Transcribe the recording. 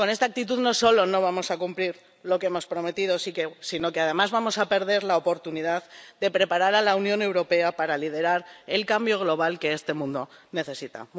Con esta actitud no solo no vamos a cumplir lo que hemos prometido, sino que además vamos a perder la oportunidad de preparar a la Unión Europea para liderar el cambio global que este mundo necesita.